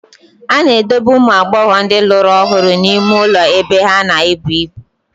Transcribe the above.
A na-edobe ụmụ agbọghọ ndị lụrụ ọhụrụ n'ime ụlọ ebe ha na-ebu ibu.